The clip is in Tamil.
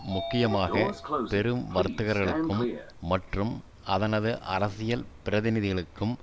முக்கியமாக பெரும் வர்த்தகர்களுக்கும் மற்றும் அதனது அரசியல் பிரதிநிதிகளுக்கும்